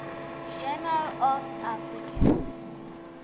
journal of african